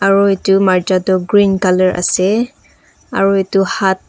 aru marcha tu green colour ase aru etu haat--